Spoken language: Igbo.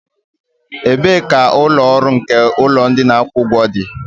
Ebee ka ụlọ ọrụ nke ụlọ ndị na akwụ ụgwọ dị?